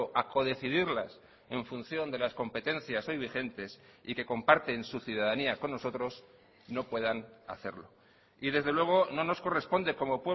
a codecidirlas en función de las competencias hoy vigentes y que comparten su ciudadanía con nosotros no puedan hacerlo y desde luego no nos corresponde como